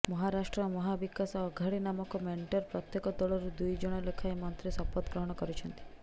ମହାରାଷ୍ଟ୍ର ମହାବିକାଶ ଅଘାଡୀ ନାମକ ମେଣ୍ଟର ପ୍ରତ୍ୟକ ଦଳରୁ ଦୁଇ ଜଣ ଲେଖାଏଁ ମନ୍ତ୍ରୀ ଶପଥ ଗ୍ରହଣ କରିଛନ୍ତି